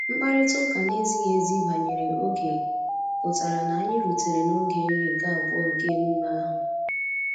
Mkparịta ụka na-ezighi ezi banyere oge pụtara na anyị rutere n'oge nri nke abụọ nke emume ahụ